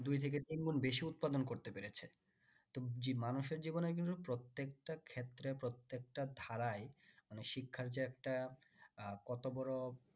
দুই থেকে তিন গুন বেশি উৎপাদন করতে পেরেছে তো মানুষের জীবনে কিন্তু প্রত্যেকটা ক্ষেত্রে প্রত্যেকটা ধারাই মানে শিক্ষার যে একটা কত বড়ো